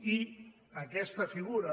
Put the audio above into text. i aquesta figura